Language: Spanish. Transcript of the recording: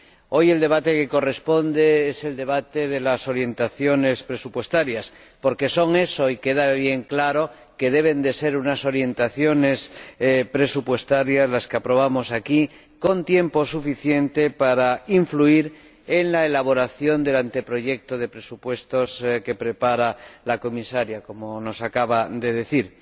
Hoy, el debate que corresponde es el debate de las orientaciones presupuestarias, porque son eso, y queda bien claro que deben ser unas orientaciones presupuestarias que hemos de aprobar aquí con tiempo suficiente para influir en la elaboración del anteproyecto de presupuesto que prepara la Comisaria, como nos acaba de decir.